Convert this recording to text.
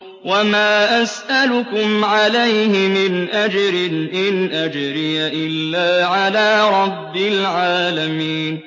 وَمَا أَسْأَلُكُمْ عَلَيْهِ مِنْ أَجْرٍ ۖ إِنْ أَجْرِيَ إِلَّا عَلَىٰ رَبِّ الْعَالَمِينَ